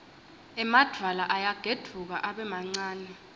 emadvwala ayagedvuka abe mancane